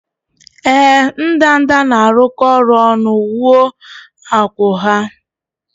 Ee, ndanda na-arụkọ ọrụ ọnụ wuo akwụ́ ha